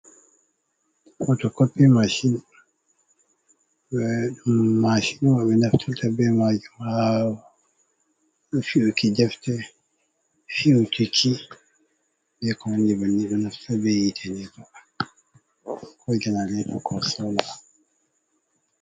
Poto kopi mashin mashinwa be naftira ta be majum ha fi’uki ɗefte fi'uki ki be konandi banni ɗo naftira be yite ni ba ko janarato ko sama